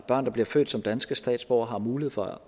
børn der bliver født som danske statsborgere har mulighed for